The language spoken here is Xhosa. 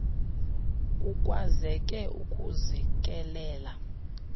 kukwazeke ukuzi kelela